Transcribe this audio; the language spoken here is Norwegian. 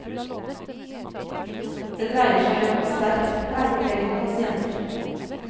Det dreier seg om sterkt pleietrengende pasienter.